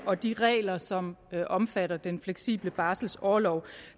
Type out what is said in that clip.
og de regler som omfatter den fleksible barselorlov